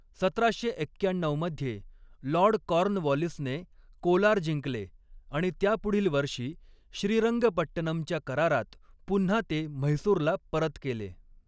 सतराशे एक्क्याण्णऊ मध्ये लॉर्ड कॉर्नवॉलिसने कोलार जिंकले आणि त्यापुढील वर्षी श्रीरंगपट्टनमच्या करारात पुन्हा ते म्हैसूरला परत केले.